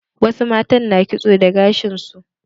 Wasu matan na kitso da gashin su.